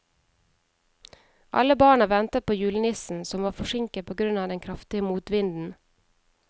Alle barna ventet på julenissen, som var forsinket på grunn av den kraftige motvinden.